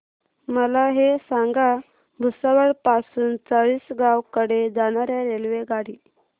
मला हे सांगा भुसावळ पासून चाळीसगाव कडे जाणार्या रेल्वेगाडी